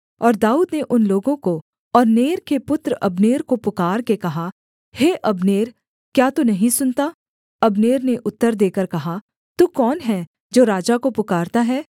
और दाऊद ने उन लोगों को और नेर के पुत्र अब्नेर को पुकारके कहा हे अब्नेर क्या तू नहीं सुनता अब्नेर ने उत्तर देकर कहा तू कौन है जो राजा को पुकारता है